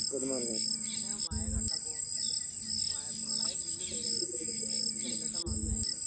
ആഹ് ഞാനാ മഴ കണ്ടപ്പോ ഇമ്മളെ പ്രളയം പിന്നേം വരാ വിചാരിച്ചു. കേരളത്തീ രണ്ട് വട്ടം വന്നതല്ലേ?